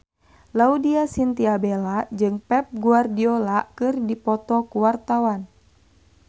Laudya Chintya Bella jeung Pep Guardiola keur dipoto ku wartawan